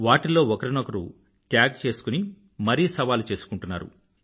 వాటిల్లో ఒకరినొకరు ట్యాగ్ చేసుకుని మరీ సవాలు చేసుకుంటున్నారు